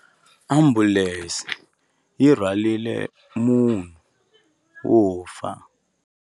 Ambulense yi rhwarile munhu wo fa.